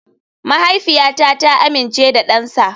Mahaifiyata ta amince da dansa.